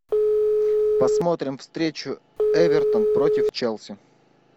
посмотрим встречу эвертон против челси